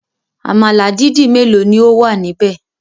Àmàlà dídì mélòó ni ó wà níbẹ̀?